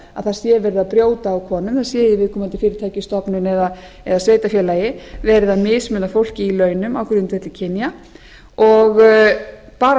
að það sé verið að brjóta á konum það sé í viðkomandi fyrirtæki stofnun eða sveitarfélagi verið að mismuna fólki í launum á grundvelli kynja og bara